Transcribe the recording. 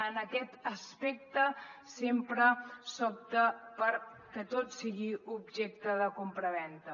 en aquest aspecte sempre s’opta perquè tot sigui objecte de compravenda